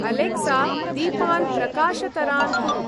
Alexa! दीपान् प्रकाशतरान् कुरु।